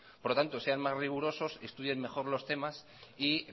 por lo tanto sean más rigurosos estudien mejor los temas y